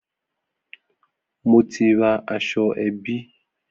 Mo ti ra aṣọ ẹbí